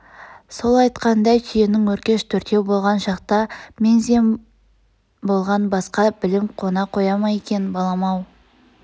сол айтқандай түйенің өркеш төртеу болған шақта мең-зең болған басқа білім қона қоя ма екен балам-ау